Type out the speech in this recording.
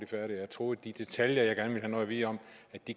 færdig jeg troede at de detaljer jeg gerne at vide om